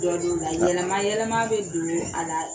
Jɔ do nka yɛlɛma yɛlɛma bɛ don a la